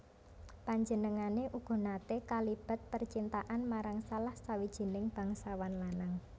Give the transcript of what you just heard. Panjenengané uga naté kalibat percintaan marang salah sawijining bangsawan lanang